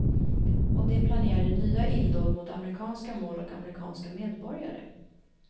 Och de planerade nya illdåd mot amerikanska mål och amerikanska medborgare.